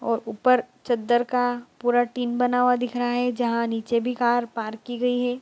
और ऊपर चद्दर का पूरा टीम बना हुआ दिख रहा है जहां निचे भी कार पार्क की गई है।